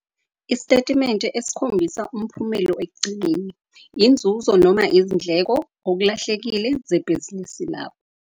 Iisitetimente esikhombisa umphumelo ekugcineni - inzuzo noma izindleko, okulahlekile, zebhizinisi lakho.